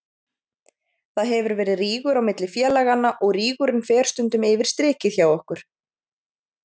Það hefur verið rígur á milli félaganna og rígurinn fer stundum yfir strikið hjá okkur.